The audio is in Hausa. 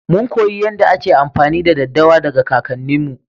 Mun koyi yadda ake amfani da daddawa daga kakanni mu.